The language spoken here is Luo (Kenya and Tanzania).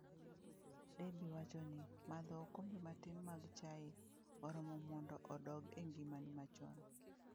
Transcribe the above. Debbie wacho ni, madho okombe matin mag chai oromo mondo odok e ngimani chon.